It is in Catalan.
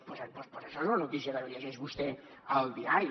doncs això és una notícia que llegeix vostè al diari